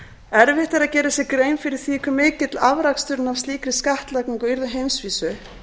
erfitt er að gera sér grein fyrir því hve mikill afraksturinn af slíkri skattlagningu yrði á heimsvísu